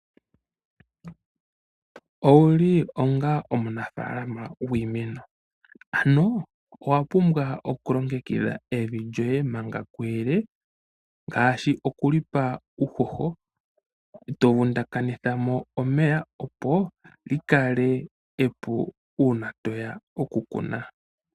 Owu li onga omunafaalama gwiimeno? Ano owa pumbwa okulongekidha evi lyoye manga kuyele. Ngaashi okulipa uuhoho, tovundakanithamo omeya. Opo likale epu uuna toya okukuna.